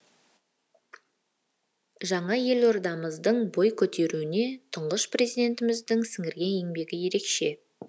жаңа елордамыздың бой көтеруіне тұңғыш президентіміздің сіңірген еңбегі ерекше